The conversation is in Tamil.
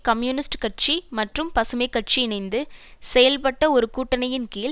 கம்யூனிஸ்ட் கட்சி மற்றும் பசுமை கட்சி இணைந்து செயல்பட்ட ஒரு கூட்டணியின்கீழ்